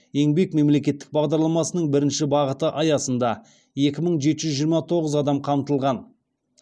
еңбек мемлекеттік бағдарламасының бірінші бағыты аясында екі мың жеті жүз жиырма тоғыз адам қамтылған